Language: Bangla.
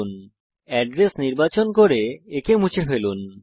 এড্রেস বারে এড্রেস নির্বাচন করুন এবং এটি মুছে ফেলুন